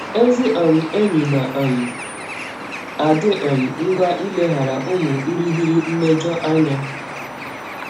Ezị um enyi na um - adị um ngwa ileghara ụmụ ịrịghiri mmejọ anya.